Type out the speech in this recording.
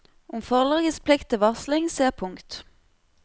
Om forlagets plikt til varsling, se pkt.